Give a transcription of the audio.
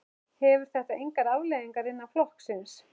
Hefur þetta engar afleiðingar innan flokksins?